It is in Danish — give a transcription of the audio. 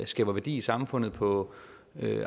skaber værdi i samfundet på